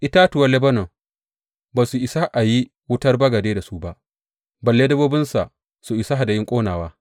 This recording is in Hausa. Itatuwan Lebanon ba su isa a yi wutar bagade da su ba, balle dabbobinsa su isa yin hadayun ƙonawa.